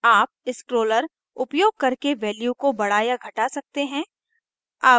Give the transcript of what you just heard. आप scrollers scrollers उपयोग करके values को बड़ा या घटा सकते हैं